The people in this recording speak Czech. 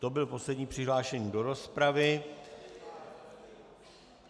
To byl poslední přihlášený do rozpravy.